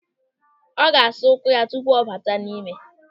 Ọ ga-asa ụkwụ ya tupu ọ bata n'ime.